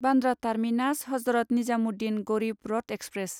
Bandra terminus Hazrat Nizamuddin Garib Rath express